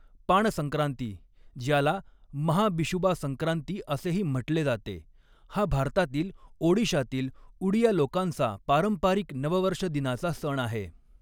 पाण संक्रांती, ज्याला महाबिशुबा संक्रांती असेही म्हटले जाते, हा भारतातील ओडिशातील उडिया लोकांचा पारंपरिक नववर्षदिनाचा सण आहे.